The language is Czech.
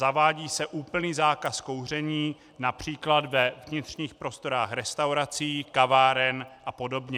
Zavádí se úplný zákaz kouření například ve vnitřních prostorách restaurací, kaváren a podobně.